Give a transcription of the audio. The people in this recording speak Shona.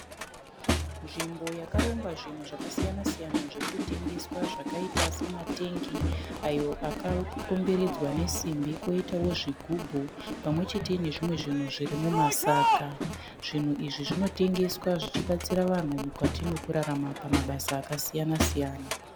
Nzvimbo yakarongwa zvinhu zvakasiyana siyana zvirikutengeswa zvakaita sematengi ayo akakomberedzwa nesimbi koitawo zvigubhu pamwe chete ne zvimwe zvinhu zviri mumatsaga. Zvinhu izvi zvinotengeswa zvichibatsira vanhu mukati mekurarama pamabasa akasiyana siyana